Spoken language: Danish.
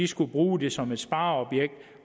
skulle bruge det som et spareobjekt